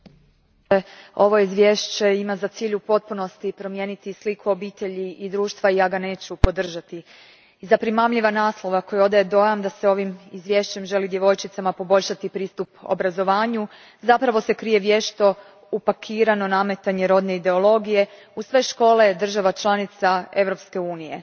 Gospodine predsjedniče, ovo izvješće ima za cilj u potpunosti promijeniti sliku obitelji i društva i ja ga neću podržati. Iza primamljiva naslova koji odaje dojam da se ovim izvješćem želi djevojčicama poboljšati pristup obrazovanju zapravo se krije vješto upakirano nametanje rodne ideologije u sve škole država članica Europske unije.